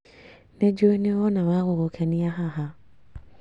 Nĩ njuĩ nĩwona wagũgũkenia haha